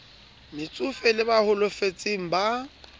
metsofe le ba holofetseng ba